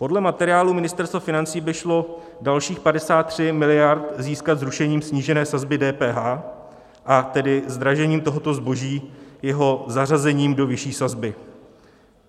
Podle materiálu Ministerstva financí by šlo dalších 53 mld. získat zrušením snížené sazby DPH, a tedy zdražením tohoto zboží, jeho zařazením do vyšší sazby.